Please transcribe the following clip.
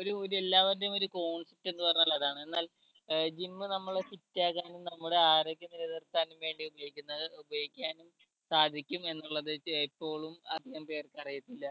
ഒരു ഒരെല്ലാവരുടെയും ഒരു എന്ന് പറഞ്ഞാൽ അതാണ് എന്നാൽ ഏർ gym നമ്മളെ fit ആക്കാനും നമ്മുടെ ആരോഗ്യം നിലനിർത്താനും വേണ്ടി ഉപയോഗിക്കുന്നത് ഉപയോഗിക്കാനും സാധിക്കും എന്നുള്ളത് ഏർ ഇപ്പോളും അധികംപേർക്ക് അറിയത്തില്ല